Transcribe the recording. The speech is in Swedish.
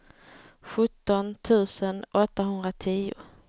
sjutton tusen åttahundratio